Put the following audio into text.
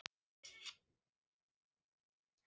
Þeir voru víst búnir að fá nóg.